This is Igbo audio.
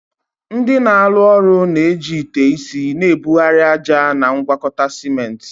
Ndị na-arụ ụlọ na-eji ite isi na-ebugharị ájá na ngwakọta ciment.